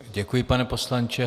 Děkuji, pane poslanče.